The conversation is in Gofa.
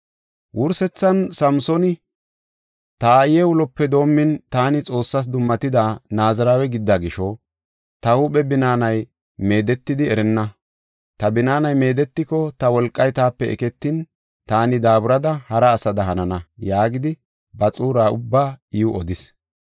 Wursethan Samsooni, “Ta aaye ulope doomin taani Xoossaas dummatida Naazirawe gidida gisho, ta huuphe binaanay meedetidi erenna. Ta binaanay meedetiko, ta wolqay taape eketin, taani daaburada hara asada hanana” yaagidi, ba xuura ubbaa iw odis.